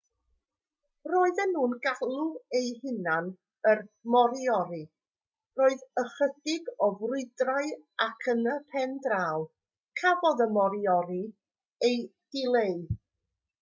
roedden nhw'n galw eu hunain yn moriori roedd ychydig o frwydrau ac yn y pen draw cafodd y moriori eu dileu